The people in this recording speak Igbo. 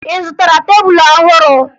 Ị zụtara tebulu ọhụrụ?